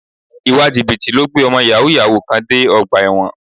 Ìwà Jìbìtì ló gbé ọmọ Yàhooyahoo kan dé ọgbà ẹ̀wọ̀n